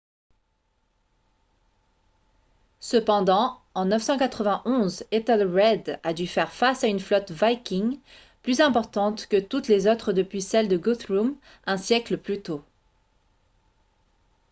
cependant en 991 ethelred a dû faire face à une flotte viking plus importante que toutes les autres depuis celle de guthrum un siècle plus tôt